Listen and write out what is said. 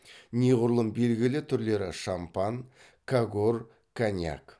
неғұрлым белгілі түрлері шампан кагор коньяк